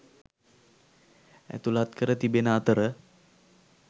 ඇතුළත් කර තිබෙන අතර